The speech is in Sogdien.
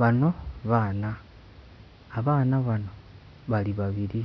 Bano baana abaana bano bali babiri